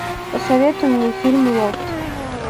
посоветуй мне фильм лофт